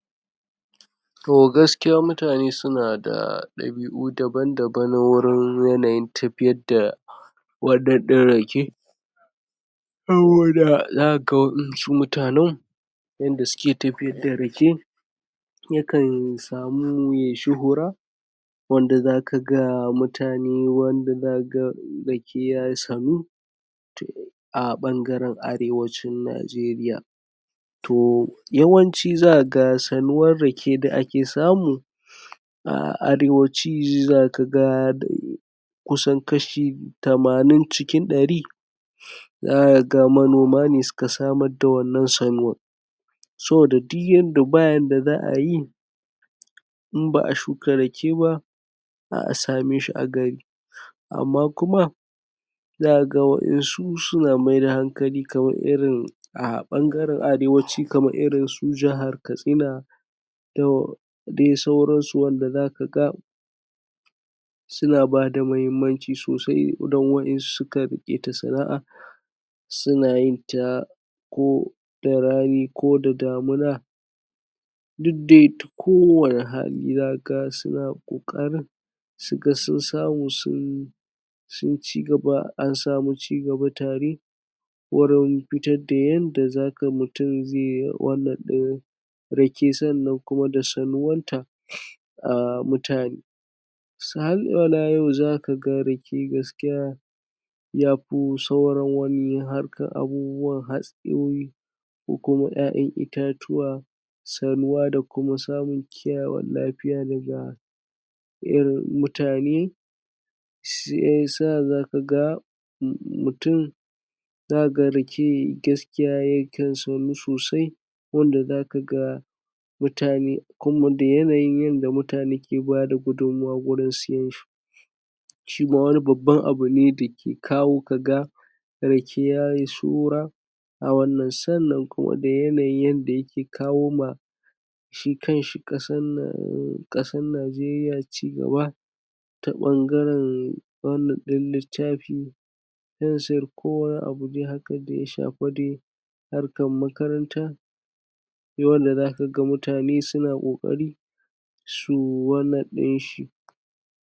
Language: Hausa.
To gaskiya mutane suna da ɗabi'u daban daban na wurin yanayin tafiyar da wannan ɗin rake saboda za ka waɗansu mutanan yanda suke tafiyar da rake yakan samu ya yi shuhura wanda za ka ga mutane wanda za ka ga rake ya sanu to a ɓangaren Arewacin Nigeria. To yawanci za ka ga sanuwar rake da ake samu a Arewaci za ka ga kusan kashi tamanin cikin ɗari za ka ga manoma ne suka samar da wannan sanuwar saboda duk yanda, ba yanda za a yi in ba a shuka rake ba sa same shi a gari. Amma kuma za ka waƴansu suna mai da hankali, kamar irin a ɓangaren Arewaci kamar irin su jihar Katsina da dai sauransu wanda za ka ga suna ba da mahimmanci soasi dan waƴansu sukan riƙe ta sana'a suna yin ta ko da rani ko da damuna duk dai ta kowanne hali za ka ga suna ƙoƙarin su ga sun samu sun sun ci gaba, an samu cigaba tare wurin fitar da yanda za ka mutum zai wannan ɗin rake sannan kuma da sanuwanta um mutane. Yau za ka ga rake gaskiya ya fi sauran wani harkan abubuwan hatsayoyi ko kuma ƴaƴan itatuwa sanuwa da kuma samun kiyayewan lafiya daga irin mutane. Shi ya sa za ka ga mutum za ka ga rake gaskiya yakan sanu sosai wanda za ka ga mutane kuma da yanayin yadda mutane ke bada gudunmawa wurin siyan shi. Shi ma wani babban abu ne da ke kawo ka ga rake ya yi shuhura a wannan, sannan kuma da yanayin yadda yake kawo ma shi kanshi ƙasan nan, ƙasan Nigeria cigaba ta ɓangaren wannan ɗin littafi, fensir ko wani abu dai haka da ya shafi dai harkar makaranta. Sai wanda za ka ga mutane suna ƙoƙari su wannan ɗin shi.